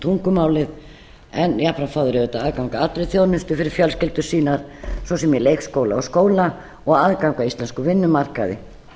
tungumálið en jafnframt fá þeir auðvitað aðgang að allri þjónustu fyrir fjölskyldur sínar svo sem í leikskóla og skóla og aðgang að íslenskum vinnumarkaði